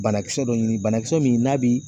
Banakisɛ dɔ ɲini banakisɛ min n'a bi